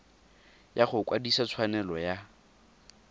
ya go kwadisa tshwanelo ya